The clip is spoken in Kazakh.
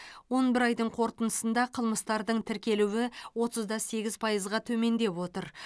он бір айдың қорытындысында қылмыстардың тіркелуі отыз да сегіз пайызға төмендеп отыр